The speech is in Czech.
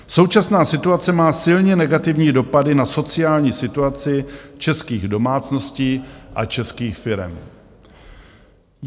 Současná situace má silně negativní dopady na sociální situaci českých domácností a českých firem.